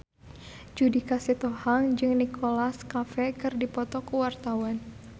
Judika Sitohang jeung Nicholas Cafe keur dipoto ku wartawan